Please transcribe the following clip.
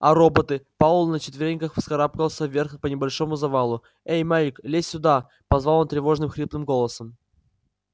а роботы пауэлл на четвереньках вскарабкался вверх по небольшому завалу эй майк лезь сюда позвал он тревожным хриплым голосом